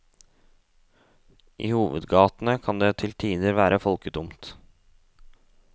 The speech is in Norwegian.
I hovedgatene kan det til tider være folketomt.